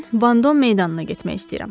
Mən Vandom meydanına getmək istəyirəm.